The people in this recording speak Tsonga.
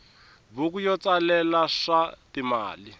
buku yo tsalela swa timali